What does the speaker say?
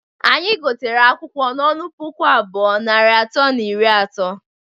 Anyi gotere akwụkwọ n'ọnụ puku abụọ, narị atọ na iri ato.